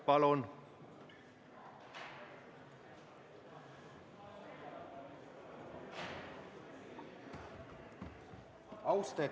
Palun!